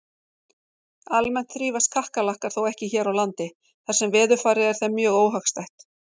Almennt þrífast kakkalakkar þó ekki hér á landi þar sem veðurfarið er þeim mjög óhagstætt.